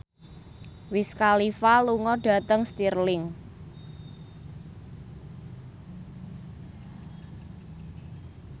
Wiz Khalifa lunga dhateng Stirling